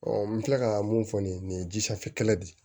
n bɛ tila ka mun fɔ nin ye nin ye ji sanfɛ kɛlɛ de ye